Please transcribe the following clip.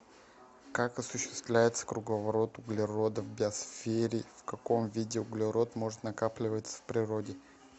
как осуществляется круговорот углерода в биосфере в каком виде углерод может накапливаться в природе